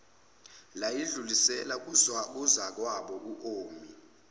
layidlulisela kuzakwabo omi